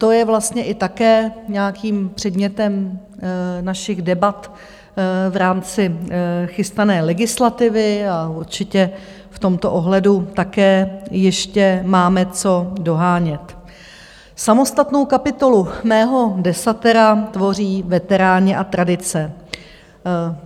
To je vlastně i také nějakým předmětem našich debat v rámci chystané legislativy a určitě v tomto ohledu také ještě máme co dohánět Samostatnou kapitolu mého desatera tvoří veteráni a tradice.